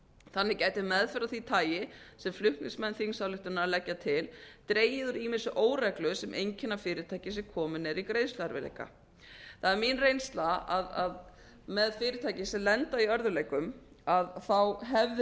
þannig gæti meðferð af því tagi sem flutningsmenn þingsályktunarinnar leggja til dregið úr ýmissi óreglu sem einkenna fyrirtæki sem komin eru í greiðsluerfiðleika það er mín reynsla að með fyrirtæki sem lenda í örðugleikum hefði